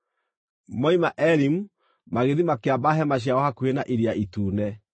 Moima Elimu magĩthiĩ makĩamba hema ciao hakuhĩ na Iria Itune.